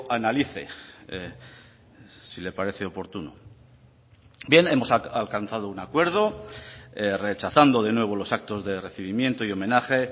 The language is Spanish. analice si le parece oportuno bien hemos alcanzado un acuerdo rechazando de nuevo los actos de recibimiento y homenaje